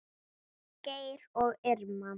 Geir og Irma.